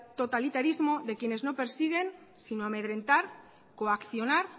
totalitarismo de quienes no persiguen sino amedrentar coaccionar